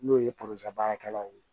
N'o ye baarakɛlaw ye